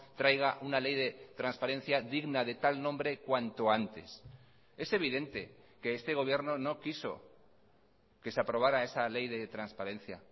traiga una ley de transparencia digna de tal nombre cuanto antes es evidente que este gobierno no quiso que se aprobara esa ley de transparencia